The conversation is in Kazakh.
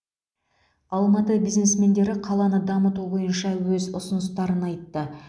алматы бизнесмендері қаланы дамыту бойынша өз ұсыныстарын айтты